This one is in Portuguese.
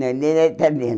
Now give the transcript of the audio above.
Não, ele era italiano.